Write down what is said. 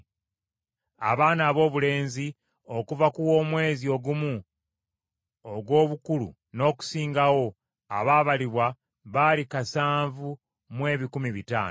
Abaana aboobulenzi okuva ku w’omwezi ogumu ogw’obukulu n’okusingawo abaabalibwa baali kasanvu mu ebikumi bitaano (7,500).